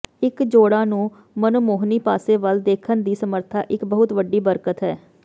ਇਕ ਜੋੜਾ ਨੂੰ ਮਨਮੋਹਣੀ ਪਾਸੇ ਵੱਲ ਦੇਖਣ ਦੀ ਸਮਰੱਥਾ ਇਕ ਬਹੁਤ ਵੱਡੀ ਬਰਕਤ ਹੈ